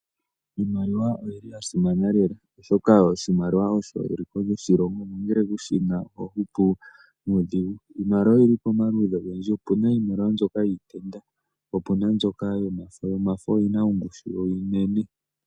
Iimaliwa oyili ya simana lela, oshoka oshimaliwa osho eliko lyoshilongo, nongele kushina oho hupu nuudhigu. Iimaliwa oyili pamaludhi ogendji, opuna iimaliwa mbyoka yiitenda, po opuna mbyoka yomafo, yomafo oyo yina ongushu onene.